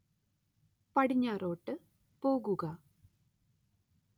പടിഞ്ഞാറോട്ട് പോവുക